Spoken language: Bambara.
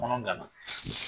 Kɔnɔ ganna